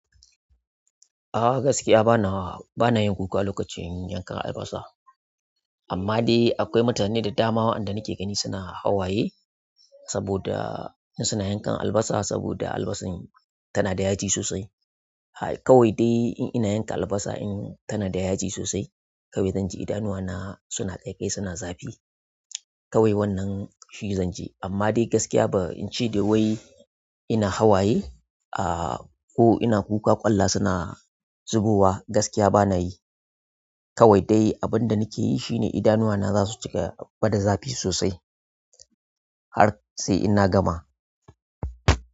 A gaskiya bana, bana yin kuka alokacin yankan albasa. Amma dai akwai mutane da dama waɗanda nake gani suna hawaye saboda in suna yankan albasa saboda albasan tana da yaji sosai hi kawai dai in ina yanka albasa in tana da yaji sosai, kawai zan ji idanuwana suna ƙaiƙayi, suna zafi. Kawai wannan shi zan ji. Amma dai gaskiya ba in ce dai wai ina hawaye ah ko ina kuka ƙwalla suna zubowa gaskiya banayi kawai dai abun da nike yi shi ne idanuwana za su cika bada zafi sosai har sai inna gama.